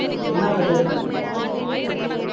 என்ன suggestion